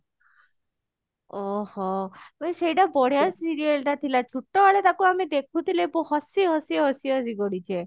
ଓଃ ହୋ ଭାଇ ସେଇଟା ବଢିଆ serial ଟା ଥିଲା ଛୁଟ ବେଳେ ତାକୁ ଆମେ ଦେଖୁଥିଲେ ହସି ହସି ହସି ହସି ଗଡିଛେ